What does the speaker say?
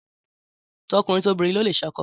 Tọkùnrin tobìnrin ló lè ṣákọ́